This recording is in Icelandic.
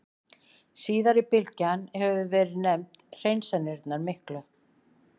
Síðari bylgjan hefur verið nefnd Hreinsanirnar miklu.